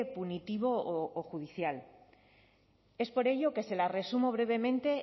punitivo o judicial es por ello que se las resumo brevemente